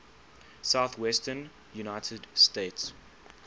southwestern united states